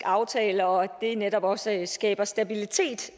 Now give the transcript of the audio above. aftale og at det netop også skaber stabilitet